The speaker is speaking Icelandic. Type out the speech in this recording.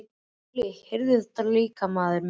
Óli heyrði þetta líka, maðurinn minn.